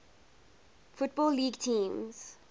football league teams